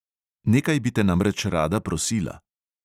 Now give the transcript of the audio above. "Nekaj bi te namreč rada prosila."